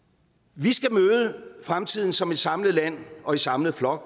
vi skal møde fremtiden som et samlet land og i samlet flok